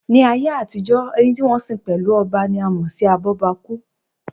Ní ayé àtijọ́, ẹni tí wọ́n sin pẹ̀lú ọba ni a mọ̀ sí abọ́bakú